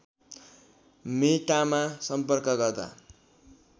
मेटामा सम्पर्क गर्दा